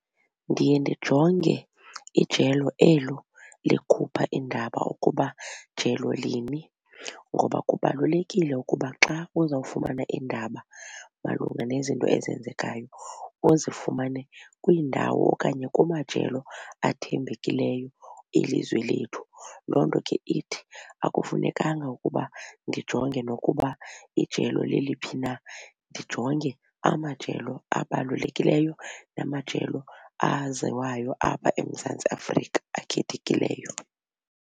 Ndiye ndijonge ijelo elo likhupha iindaba ukuba jelo lini ngoba kubalulekile ukuba xa uzawufumana iindaba malunga nezinto ezenzekayo uzifumane kwiindawo okanye kumajelo athembekileyo elizwe lethu. Loo nto ke ithi akufunekanga ukuba ndijonge nokuba ijelo leliphi na ndijonge amajelo abalulekileyo namajelo aziwayo apha eMzantsi Afrika akhethekileyo.